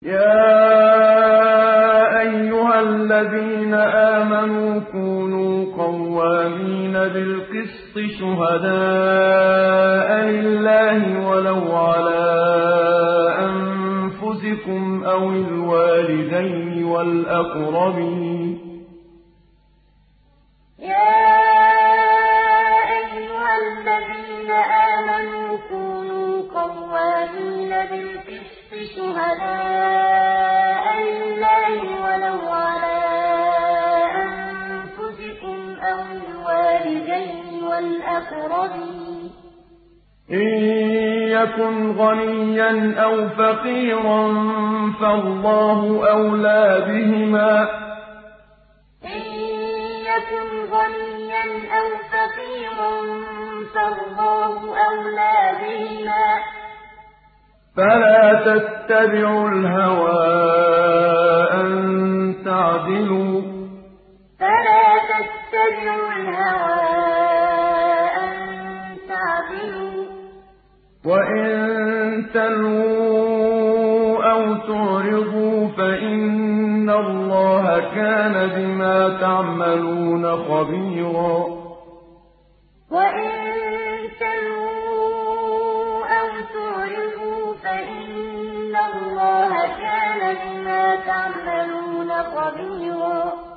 ۞ يَا أَيُّهَا الَّذِينَ آمَنُوا كُونُوا قَوَّامِينَ بِالْقِسْطِ شُهَدَاءَ لِلَّهِ وَلَوْ عَلَىٰ أَنفُسِكُمْ أَوِ الْوَالِدَيْنِ وَالْأَقْرَبِينَ ۚ إِن يَكُنْ غَنِيًّا أَوْ فَقِيرًا فَاللَّهُ أَوْلَىٰ بِهِمَا ۖ فَلَا تَتَّبِعُوا الْهَوَىٰ أَن تَعْدِلُوا ۚ وَإِن تَلْوُوا أَوْ تُعْرِضُوا فَإِنَّ اللَّهَ كَانَ بِمَا تَعْمَلُونَ خَبِيرًا ۞ يَا أَيُّهَا الَّذِينَ آمَنُوا كُونُوا قَوَّامِينَ بِالْقِسْطِ شُهَدَاءَ لِلَّهِ وَلَوْ عَلَىٰ أَنفُسِكُمْ أَوِ الْوَالِدَيْنِ وَالْأَقْرَبِينَ ۚ إِن يَكُنْ غَنِيًّا أَوْ فَقِيرًا فَاللَّهُ أَوْلَىٰ بِهِمَا ۖ فَلَا تَتَّبِعُوا الْهَوَىٰ أَن تَعْدِلُوا ۚ وَإِن تَلْوُوا أَوْ تُعْرِضُوا فَإِنَّ اللَّهَ كَانَ بِمَا تَعْمَلُونَ خَبِيرًا